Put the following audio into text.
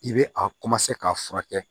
I bɛ a ka furakɛ